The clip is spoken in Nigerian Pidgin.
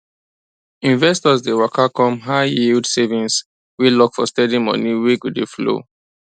investors dey waka come highyield savings wey lock for steady money wey go dey flow